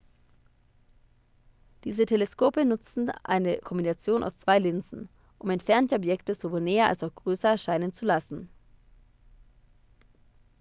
diese teleskope nutzten eine kombination aus zwei linsen um entfernte objekte sowohl näher als auch größer erscheinen zu lassen